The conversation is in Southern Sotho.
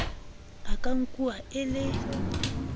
a ka nkuwang e le